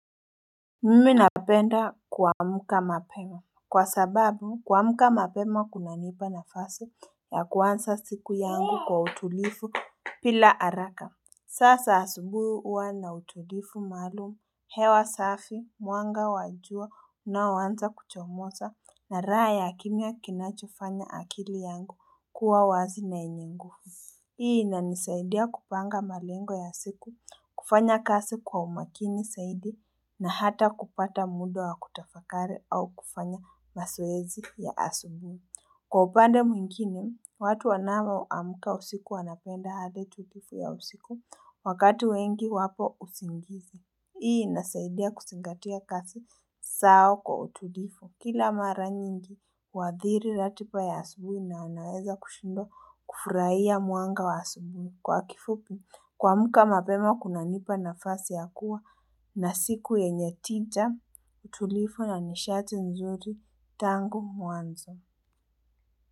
Mimi napenda kuamka mapema. Kwa sababu, kuamka mapema kunanipa nafasi ya kuansa siku yangu kwa utulifu pila araka. Sasa asubui uwa na utulifu malumu, hewa safi, mwanga wajua unaoanza kuchomoza na raha ya kimya kinachofanya akili yangu kuwa wazi na yenye nguvu. Hii inanisaidia kupanga malengo ya siku, kufanya kasi kwa umakini saidi na hata kupata muda wa kutafakari au kufanya masoezi ya asubui. Kwa upande mwingine, watu wanao amka usiku wanapenda hali tutifu ya usiku wakati wengi wapo usingizi. Hii inasaidia kusingatia kasi sao kwa utulifu. Kila mara nyingi, huadhiri ratipa ya asubui na unaweza kushindwa kufurahia mwanga wa asubui. Kwa kifupi, kuamka mapema kuna nipa nafasi ya kuwa na siku yenye tija utulifu na nishati nzuri tangu mwanzo.